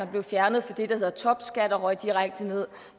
blev fjernet fra det der hedder topskat og røg direkte ned